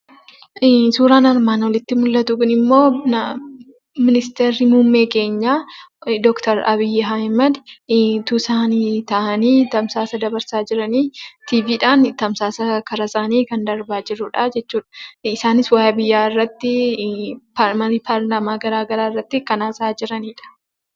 Suuraan armaan olitti mul'atu kunimmoo ministeerri muummee keenyaa Dr.Abiy Ahmed utuu isaan taa'aani tamsaasa dabarsaa jiranidha. Tiiviidhan karaa isaani tamsaasni kan darba jirudha.